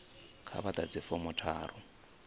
kha vha ḓadze fomo tharu